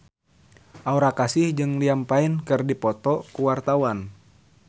Aura Kasih jeung Liam Payne keur dipoto ku wartawan